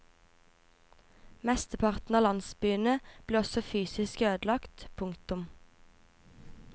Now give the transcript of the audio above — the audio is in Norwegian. Mesteparten av landsbyene ble også fysisk ødelagt. punktum